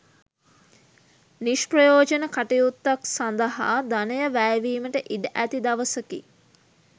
නිෂ්ප්‍රයෝජන කටයුත්තක් සඳහා ධනය වැයවීමට ඉඩ ඇති දවසකි.